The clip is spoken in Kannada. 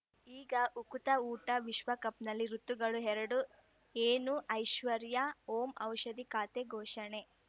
ಈಗ ಉಕುತ ಊಟ ವಿಶ್ವಕಪ್‌ನಲ್ಲಿ ಋತುಗಳು ಎರಡು ಏನು ಐಶ್ವರ್ಯಾ ಓಂ ಔಷಧಿ ಖಾತೆ ಘೋಷಣೆ